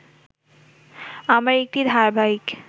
আমার একটি ধারাবাহিক